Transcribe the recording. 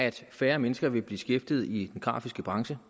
at færre mennesker vil blive beskæftiget i den grafiske branche